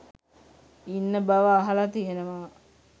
ඉන්න බව අහලා තියෙනවා.